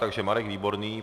Takže Marek Výborný.